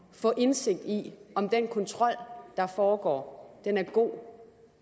få indsigt i om den kontrol der foregår er god